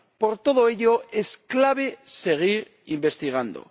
Por todo ello, es clave seguir investigando.